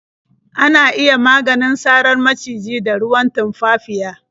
Ana iya maganin sarar maciji da ruwan tumfafiya.